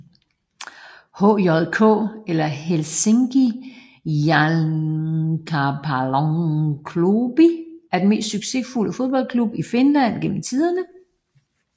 HJK eller Helsingin Jalkapalloklubi er den mest succesfulde fodboldklub i Finland gennem tiderne